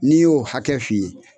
N'i y'o hakɛ fi ye